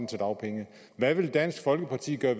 til dagpenge hvad vil dansk folkeparti gøre